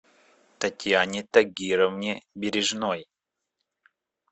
татьяне тагировне бережной